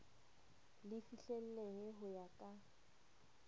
le fihlellehe ho ya ka